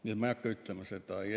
Nii et ma ei hakka seda ütlema.